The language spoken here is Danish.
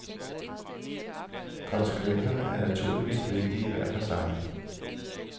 Konsekvenserne er naturligvis vigtige hver for sig.